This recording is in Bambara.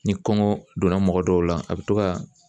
Ni kɔngɔ donna mɔgɔ dɔw la, a bɛ to ka